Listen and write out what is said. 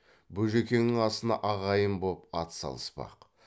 бөжекеңнің асына ағайын боп ат салыспақ